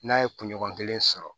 N'a ye kunɲɔgɔn kelen sɔrɔ